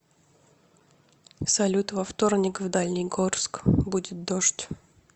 салют во вторник в дальний горск будет дождь